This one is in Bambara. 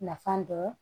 Nafa dɔn